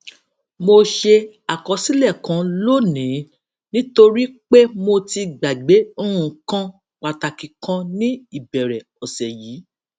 mo ṣe àkọsílè kan lónìí nítorí pé mo ti gbàgbé nǹkan pàtàkì kan ní ìbèrè òsè yìí